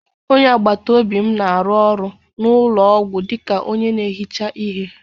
Onye agbata obi m na-arụ ọrụ n'ụlọ ọgwụ dịka onye na-ehicha ihe.